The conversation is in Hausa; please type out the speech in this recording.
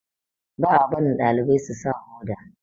ba a barin dalibai su sa Hoda